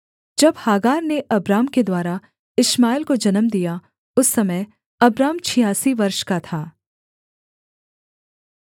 जब हागार ने अब्राम के द्वारा इश्माएल को जन्म दिया उस समय अब्राम छियासी वर्ष का था